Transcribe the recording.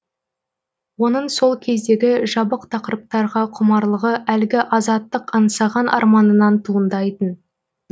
оның сол кездегі жабық тақырыптарға құмарлығы әлгі азаттық аңсаған арманынан туындайтын